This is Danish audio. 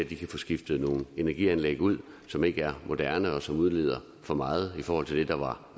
de kan få skiftet nogle energianlæg ud som ikke er moderne og som udleder for meget i forhold til det der